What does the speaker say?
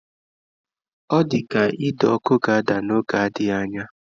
Ọ dị ka ide ọkụ ga-ada n'oge na-adịghị anya.